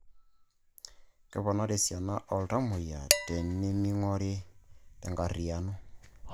Keponari esiani oltamuoyia teneming'ori te nkarriyiano